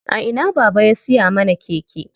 A ina baba ya siya mana keke?